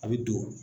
A bɛ don